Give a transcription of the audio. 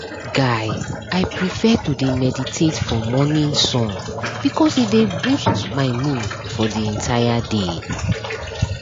guy i prefer to dey meditate for morning sun because e dey boost my mood for the entire day